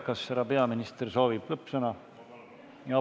Kas härra peaminister soovib lõppsõna?